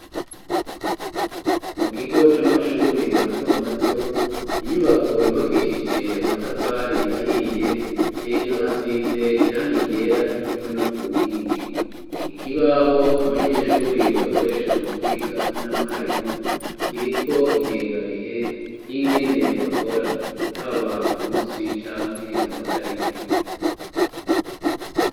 Mu kigo c'amashure mato mato, inyubako yubakishije amatafari ahiye, hejuru hasize irangi ryera co kimwe no ku nkingi, ikibaho abanyeshuri bakoresha mu kwiga hamwe na mwarimu kiriko ingengabihe y'ingene bakora haba ku munsi canke amatarike.